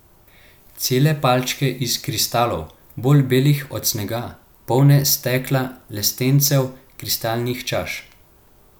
Cele palače iz kristalov, bolj belih od snega, polne stekla, lestencev, kristalnih čaš.